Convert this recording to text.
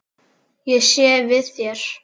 Ég sé við þér.